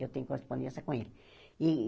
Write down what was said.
Eu tenho correspondência com ele. E